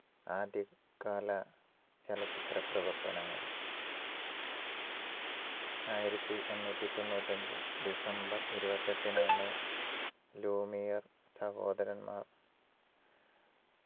ആദ്യകാല ചലച്ചിത്ര പ്രവർത്തനങ്ങൾ ആയിരത്തിഎണ്ണൂറ്റിതൊണ്ണൂറ്റിയഞ്ച് ഡിസംബർ ഇരുപത്തിയെട്ടിനാണ് ലൂമിയർ സഹോദരന്മാർ